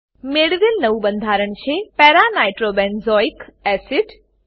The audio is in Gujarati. મેળવેલ નવું બંધારણ છે para nitrobenzoic acid para nitrobenzoic acid